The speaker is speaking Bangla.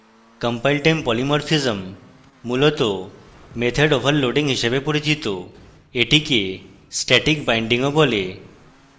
compiletime polymorphism মূলত method overloading হিসাবে পরিচিত এটিকে static bindingও বলে